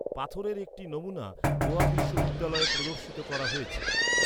পাথরের একটি নমুনা গোয়া বিশ্ববিদ্যালয়ে প্রদর্শিত করা হয়েছে।